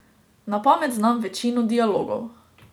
Na pamet znam večino dialogov.